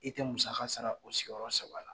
E tɛ musaka sara o sigiyɔrɔ saba la.